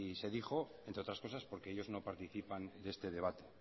se dijo entre otras cosas porque ellos no participan de este debate